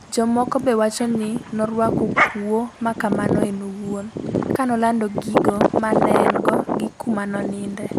Jomoko be wacho ni noruako kuo makamano en owuon kanolando gigo manengo gi kuma noninde